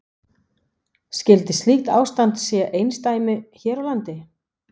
Skyldi slíkt ástand sé einsdæmi hér á landi?